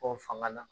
Ko fanga na